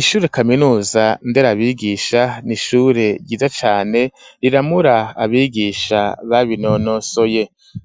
Ishure kaminuza nderabigisha, ni ishure ryiza cane riramura abigisha babinonosoye;